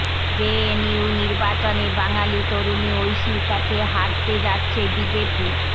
JNU নির্বাচনে বাঙালি তরুণী ঐশীর কাছে হারতে যাচ্ছে বিজেপি